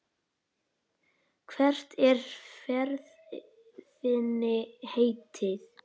Hvert er ferð þinni heitið?